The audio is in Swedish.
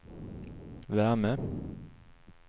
värme